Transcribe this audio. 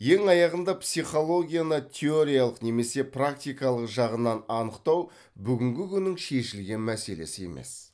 ең аяғында психологияны теориялық немесе практикалық жағынан анықтау бүгінгі күннің шешілген мәселесі емес